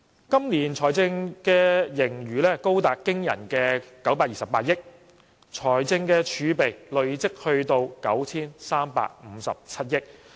今年的財政盈餘高達驚人的928億元，財政儲備累積至 9,357 億元。